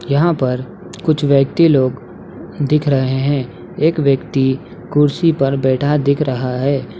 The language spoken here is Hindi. यहां पर कुछ व्यक्ति लोग दिख रहे हैं। एक व्यक्ति कुर्सी पर बैठा दिख रहा है।